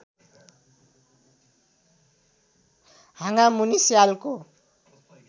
हाँगामुनि स्यालको